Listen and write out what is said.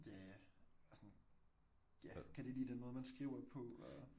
ja ja og sådan ja kan de lide den måde man skriver på og